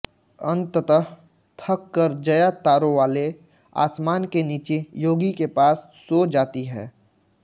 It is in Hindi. अंततः थक कर जया तारोंवाले आसमान के नीचे योगी के पास सो जाती है